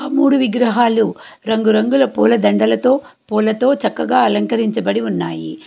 మూడు విగ్రహాలు రంగురంగుల పూలదండలతో పూలతో చక్కగా అలంకరించబడి ఉన్నాయి.